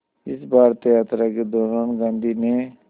इस भारत यात्रा के दौरान गांधी ने